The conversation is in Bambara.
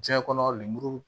Diɲɛ kɔnɔ lemuru